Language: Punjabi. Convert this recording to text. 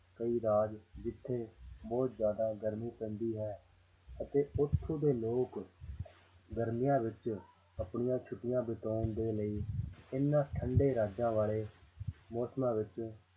ਕਈ ਰਾਜ ਜਿੱਥੇ ਬਹੁਤ ਜ਼ਿਆਦਾ ਗਰਮੀ ਪੈਂਦੀ ਹੈ ਅਤੇ ਉੱਥੋਂ ਦੇ ਲੋਕ ਗਰਮੀਆਂ ਵਿੱਚ ਆਪਣੀਆਂ ਛੁੱਟੀਆਂ ਬਤਾਉਣ ਦੇ ਲਈ ਇਹਨਾਂ ਠੰਢੇ ਰਾਜਾਂ ਵਾਲੇ ਮੌਸਮਾਂ ਵਿੱਚ